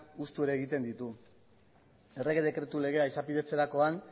hustu ere egiten ditu errege dekretu legea izapidetzerakoan